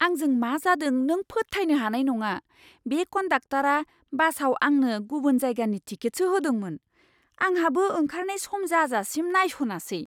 आंजों मा जादों नों फोथायनो हानाय नङा! बे कन्डाक्टरा बासाव आंनो गुबुन जायगानि टिकेटसो होदोंमोन, आंहाबो ओंखारनाय सम जाजासिम नायसनासै!